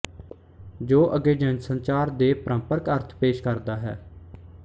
ਜੋ ਅਗੇ ਜਨਸੰਚਾਰ ਦੇ ਪਰੰਪਰਕ ਅਰਥ ਪੇਸ਼ ਕਰਦਾ ਹੈ